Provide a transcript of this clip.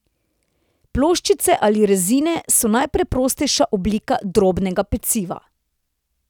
Ploščice ali rezine so najpreprostejša oblika drobnega peciva.